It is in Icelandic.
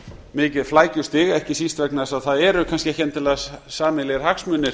mikið flækjustig ekki síst vegna þess að það eru kannski ekki endilega sameiginlegir hagsmunir